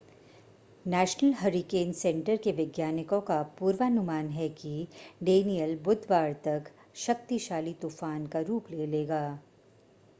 national Hurricane Center के वैज्ञानिकों का पूर्वानुमान है कि डेनियल बुधवार तक शक्तिशाली तूफ़ान का रूप ले लेगा